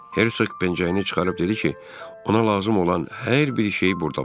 Hersoq pencəyini çıxarıb dedi ki, ona lazım olan hər bir şey burda var.